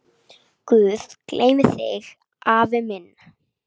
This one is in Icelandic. Guð geymi þig, afi minn.